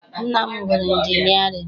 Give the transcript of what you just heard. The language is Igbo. Nna m gụrụ injinịarịn.